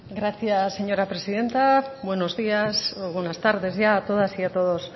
gracias señora presidenta buenos días o buenas tardes ya a todas y a todos